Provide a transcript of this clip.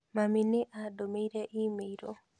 Mami nĩ andũmĩire i-mīrū